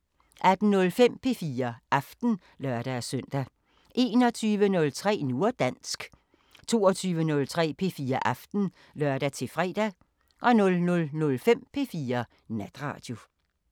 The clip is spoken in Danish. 18:05: P4 Aften (lør-søn) 21:03: Nu og dansk 22:03: P4 Aften (lør-fre) 00:05: P4 Natradio